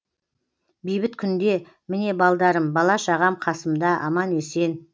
бейбіт күнде міне балдарым бала шағам қасымда аман есен